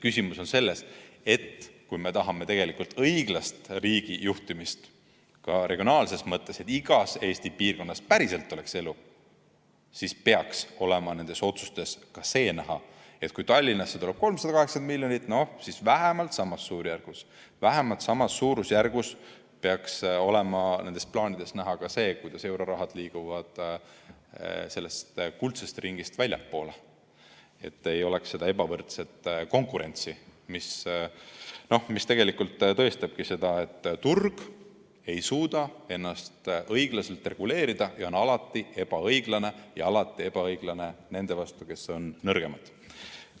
Küsimus on selles, et kui me tahame tegelikult õiglast riigijuhtimist ka regionaalses mõttes, et igas Eesti piirkonnas oleks päriselt elu, siis juhul kui Tallinnasse tuleb 380 miljonit, peaks vähemalt samas suurusjärgus olema nendest plaanidest näha ka see, kuidas euroraha liigub sellest kuldsest ringist väljapoole, et ei oleks ebavõrdset konkurentsi, mis tegelikult tõestabki seda, et turg ei suuda ennast õiglaselt reguleerida ja on alati ebaõiglane ja alati ebaõiglane nende vastu, kes on nõrgemad.